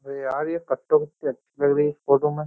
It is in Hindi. अरे यार ये कट्टो कितनी अच्छी लग रही है इस फोटो में।